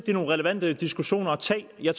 eller